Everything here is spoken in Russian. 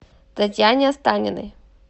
татьяне останиной